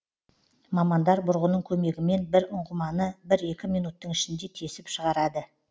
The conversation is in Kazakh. мамандар бұрғының көмегімен бір ұңғыманы бір екі минуттың ішінде тесіп шығарады